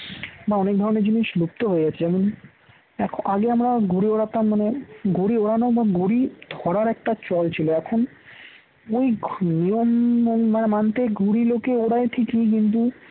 বা অনেক ধরনের জিনিস লিপ্ত হয়ে যাচ্ছে যেমন এখন আগে আমরা ঘুড়ি ওড়াতাম মানে ঘুড়ি উড়ানো এবং ঘুড়ি ধরার একটা চলছিল এখন ওই নিয়ম মানতে ঘুরি লোকে ওরাই ঠিকই কিন্তু